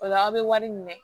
O la aw bɛ wari minɛ